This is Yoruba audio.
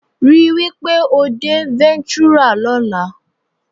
Rí wí pé o dé Ventura lọ́la